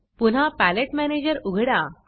पुन्हा palette manager उघडा